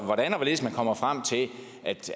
hvordan og hvorledes man kommer frem til